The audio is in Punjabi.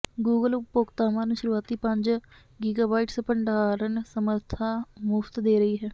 ਗੂਗਲ ਉਪਭੋਗਤਾਵਾਂ ਨੂੰ ਸ਼ੁਰੂਆਤੀ ਪੰਜ ਗੀਗਾਬਾਈਟਸ ਭੰਡਾਰਨ ਸਮਰੱਥਾ ਮੁਫ਼ਤ ਦੇ ਰਹੀ ਹੈ